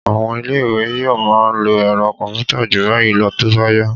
À̀wọn ilé-ìwé yóò máa lo ẹ̀rọ kọ̀m̀pútà jù báyìí lọ tó bá yá